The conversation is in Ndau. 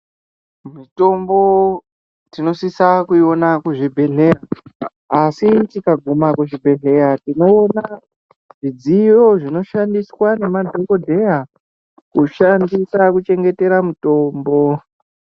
Mutombo tinosise kuiona kuzvibhedhlera asi tikasvika kuzvibhedhlera tinoona zvidziyo zvinoshandiswa ngemadhokodheya kushandisa kuchengetera mitombo.